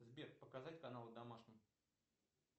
сбер показать канал домашний